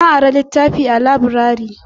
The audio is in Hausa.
Na ari litafi a laburare